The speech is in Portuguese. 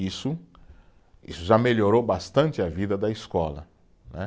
Isso já melhorou bastante a vida da escola, né